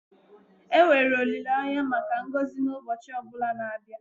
enwere olileanya maka ngọzi n'ụbọchị ọ bụla na-abịa